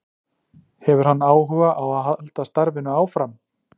Hefur hann áhuga á að halda starfinu áfram?